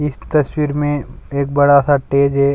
इस तस्वीर में एक बड़ा-सा तेज़ है।